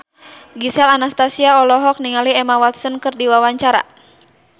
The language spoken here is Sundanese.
Gisel Anastasia olohok ningali Emma Watson keur diwawancara